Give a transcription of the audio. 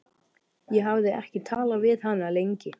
Ég hafði ekki talað við hann lengi.